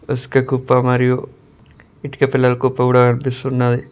ఇసుక కుప్ప మరియు ఇటుక పెళ్ళల కుప్ప కూడా కనిపిస్తున్నది.